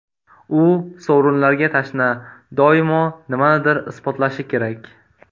U sovrinlarga tashna, doimo nimanidir isbotlashi kerak.